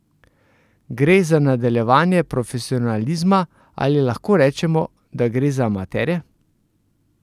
Gre za nadaljevanje profesionalizma ali lahko rečemo, da gre za amaterje?